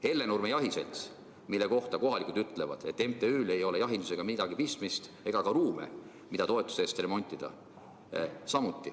Hellenurme Jahiseltsi kohta ütlevad kohalikud, et sel MTÜ‑l ei ole jahindusega midagi pistmist ega ole ka ruume, mida toetuse eest remontida.